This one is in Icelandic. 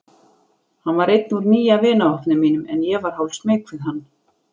Hann var einn úr nýja vinahópnum mínum en ég var hálfsmeyk við hann.